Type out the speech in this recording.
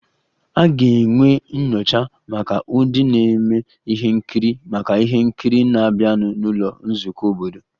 A ga-enwe nyocha maka ndị na-eme ihe nkiri maka ihe nkiri na-abịanụ n'ụlọ nzukọ obodo